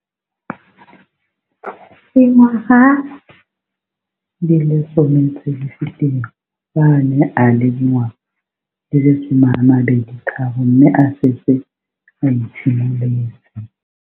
Dingwaga di le 10 tse di fetileng, fa a ne a le dingwaga di le 23 mme a setse a itshimoletse.